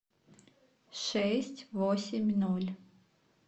шесть восемь ноль